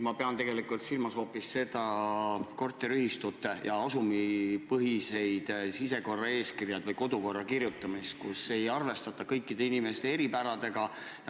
Ma pean silmas korteriühistute ja asumite sisekorraeeskirju või kodukorda, kus ei arvestata kõikide inimeste eripäradega.